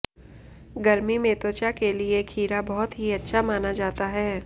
गर्मी में त्वचा के लिये खीरा बहुत ही अच्छा माना जाता है